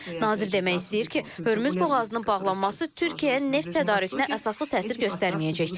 Nazir demək istəyir ki, Hörmüz boğazının bağlanması Türkiyəyə neft tədarükünə əsaslı təsir göstərməyəcək.